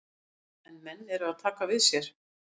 En menn eru að taka við sér.